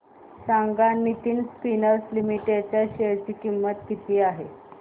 सांगा Nitin spinners limited च्या share ची किंमत काय आहे